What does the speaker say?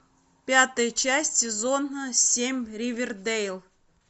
пятая часть сезона семь ривердейл